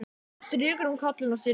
Hún strýkur um kollinn á syninum.